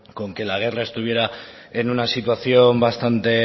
con que la guerra estuviera en una situación bastante